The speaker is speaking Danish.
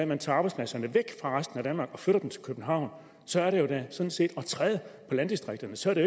man tager arbejdspladserne væk fra resten af danmark og flytter dem til københavn så er det sådan set at træde på landdistrikterne så er det